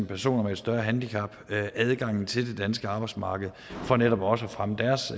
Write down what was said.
personer med et større handicap adgang til det danske arbejdsmarked for netop også at fremme deres